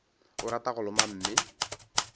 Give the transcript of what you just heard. o rata go loma mme